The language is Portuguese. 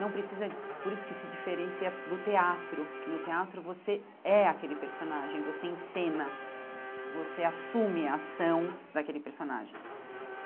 Não precisa... Por isso que se diferencia do teatro, que no teatro você é aquele personagem, você encena, você assume a ação daquele personagem.